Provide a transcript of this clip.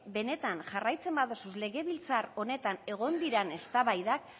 benetan jarraitzen badituzu legebiltzar honetan egon diren eztabaidak